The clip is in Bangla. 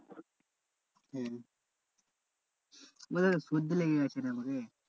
হম হম মানে সর্দি লেগে গেছে রে আমাকে।